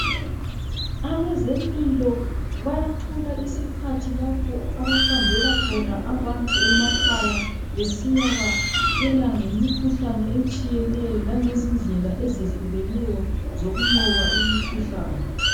Abezempilo bayathola isikhathi lapho abahambela khona abantu emakhaya besiyabatshela ngemikhuhlane etshiyeneyo langezindlela ezehlukeneyo zokunqoba imikhuhlane.